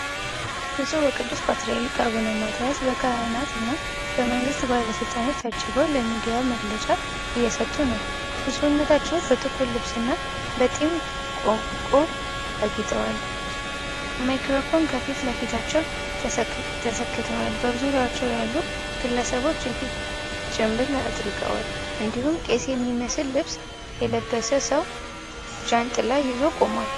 ብፁዕ ወቅዱስ ፓትርያርክ አቡነማትያስ በካህናት እና በመንግስት ባለስልጣናት ታጅበው ለሚዲያ መግለጫ እየሰጡ ነው። ብፁዕነታቸው በጥቁር ልብስና በጢም ቆብ አጊጠዋል። ማይክራፎኖች ከፊት ለፊታቸው ተሰክተዋል። በዙሪያቸው ያሉ ግለሰቦች የፊት ጭንብል አጥልቀዋል፣ እንዲሁም ቄስ የሚመስል ልብስ የለበሰ ሰው ጃንጥላ ይዞ ቆሟል።